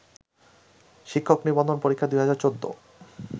শিক্ষক নিবন্ধন পরীক্ষা ২০১৪